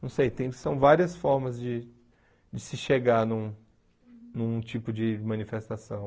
Não sei, tem são várias formas de de se chegar num num tipo de manifestação.